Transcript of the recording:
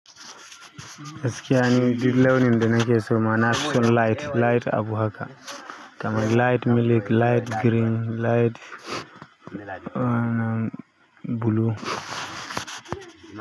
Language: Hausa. Gaskiya ni dil aunin da nake so ma nafi son light. Light abu haka. Kamar light milk, light green, light blue.